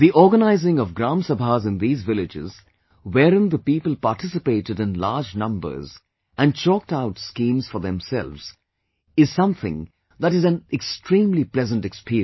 The organizing of Gram Sabhas in these villages, wherein the people participated in large numbers and chalked out schemes for themselves is something that is an extremely pleasant experience